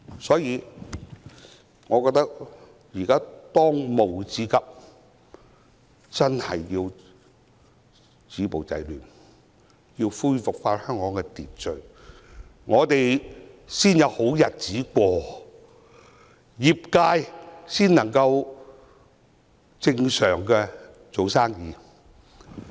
所以，我覺得當務之急是止暴制亂，恢復香港的秩序，這樣，我們才可以重過正常生活，各行各業才能正常做生意。